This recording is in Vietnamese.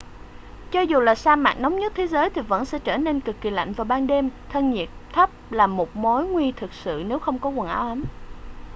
cho dù là sa mạc nóng nhất thế giới thì vẫn sẽ trở nên cực kì lạnh vào ban đêm thân nhiệt thấp là một mối nguy thực sự nếu không có quần áo ấm